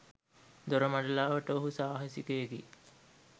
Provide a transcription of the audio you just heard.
දොරමඩලාවට ඔහු සාහසිකයෙකි.